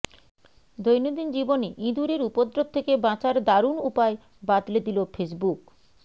দৈনন্দিন জীবনে ইঁদুরের উপদ্রপ থেকে বাঁচার দারুণ উপায় বাতলে দিল ফেসবুক